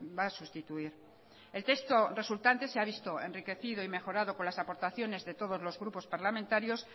va a sustituir el texto resultante se ha visto enriquecido y mejorado por las aportaciones de todos los grupos parlamentarios